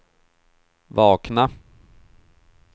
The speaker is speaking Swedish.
vakna